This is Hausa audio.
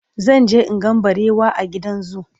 zanje in ga barewa a gidan zoo